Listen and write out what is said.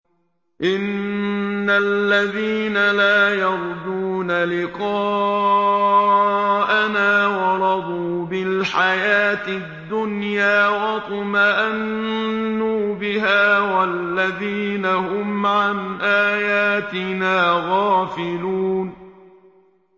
إِنَّ الَّذِينَ لَا يَرْجُونَ لِقَاءَنَا وَرَضُوا بِالْحَيَاةِ الدُّنْيَا وَاطْمَأَنُّوا بِهَا وَالَّذِينَ هُمْ عَنْ آيَاتِنَا غَافِلُونَ